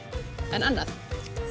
en annað